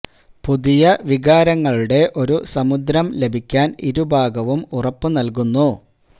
പുതിയ വികാരങ്ങളുടെ ഒരു സമുദ്രം ലഭിക്കാൻ ഇരു ഭാഗവും ഉറപ്പു നൽകുന്നു